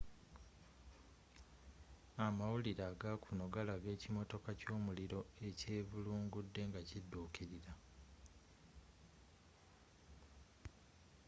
amawulire agakuno galaga ekimotoka kyomuliro ekyevulungudde nga kiduukilira